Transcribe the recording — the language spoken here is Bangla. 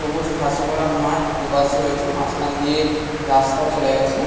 সবুজ ঘাসে ভরা মাঠ দুপাশে রয়েছে। মাঝখান দিয়ে রাস্তা চলে গেছে।